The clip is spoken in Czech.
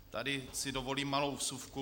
Tady si dovolím malou vsuvku.